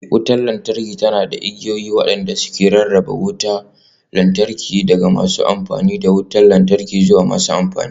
Wutar lantarki tana riƙe da igiyoyi waɗanda ke rarraba wutar lantarki daga masu amfani da wutar lantarki zuwa masu amfani